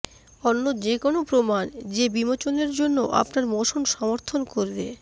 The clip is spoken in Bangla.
অন্য যে কোনও প্রমাণ যে বিমোচনের জন্য আপনার মোশন সমর্থন করবে